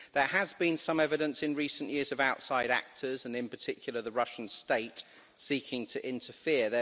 There has been some evidence in recent years of outside actors and in particular, the Russian state seeking to interfere.